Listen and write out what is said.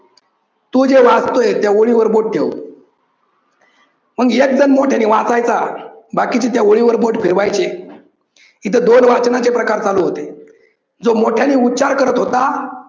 तो जे वाचतोय त्या ओळीवर बोट ठेव. मग एक जन मोठ्यानी वाचायचा बाकीचे त्या ओळीवर बोट फिरवायचे. तिथ दोन वाचनाचे प्रकार चालू होते. जो मोठ्यांनी उच्चार करत होता